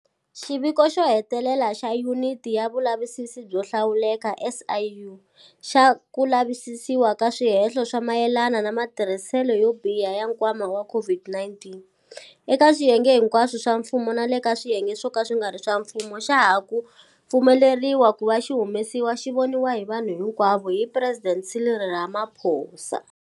Xiviko xo hetelela xa Yuniti ya Vulavisisi byo Hlawuleka, SIU, xa ku lavisisiwa ka swihehlo swa mayelana na matirhiselo yo biha ya nkwama wa COVID-19, eka swiyenge hinkwaswo swa mfumo na le ka swiyenge swo ka swi nga ri swa mfumo xa ha ku pfumeleriwa ku va xi humesiwa xi voniwa hi vanhu hinkwavo hi Presidente Cyril Ramaphosa.